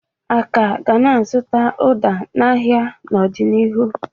A ka ga na-azụta ụda n'ahịa n'ọdịnihu.